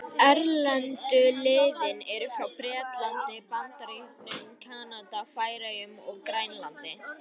Erlendu liðin eru frá Bretlandi, Bandaríkjunum, Kanada, Færeyjum og Grænlandi.